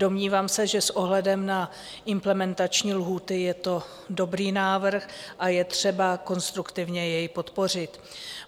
Domnívám se, že s ohledem na implementační lhůty je to dobrý návrh a je třeba konstruktivně jej podpořit.